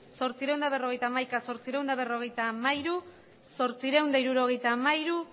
zortziehun eta berrogeita hamaika zortziehun eta berrogeita hamairu zortziehun eta hirurogeita hamairu